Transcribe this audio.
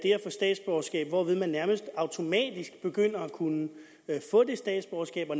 få statsborgerskab hvorved man nærmest automatisk begynder at kunne få det statsborgerskab og